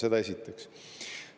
Seda esiteks.